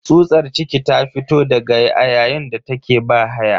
Tsutsar ciki ta fito daga a yayin da take bahaya.